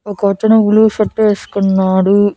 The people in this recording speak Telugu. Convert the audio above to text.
ఒకతను బ్లూ షర్ట్ వేసుకున్నాడు.